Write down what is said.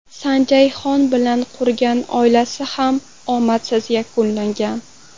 Sanjay Xon bilan qurgan oilasi ham omadsiz yakunlangan.